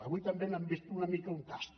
avui també n’han fet una mica un tast